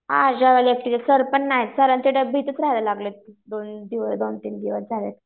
हां सर पण नाही सरांची पण भीती दोन तीन दिवस झाले